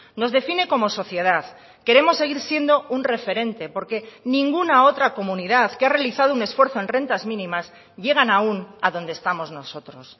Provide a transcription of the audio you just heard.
nos define como sociedad queremos seguir siendo un referente porque ninguna otra comunidad que ha realizado un esfuerzo en rentas mínimas llegan aún a donde estamos nosotros